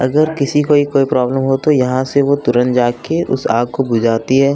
अगर किसी को कोई प्रॉब्लम हो तो यहां से वो तुरंत जाके उस आग को बुझाती है।